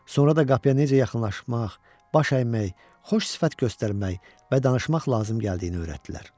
Sonra da qapıya necə yaxınlaşmaq, baş əymək, xoş sifət göstərmək və danışmaq lazım gəldiyini öyrətdilər.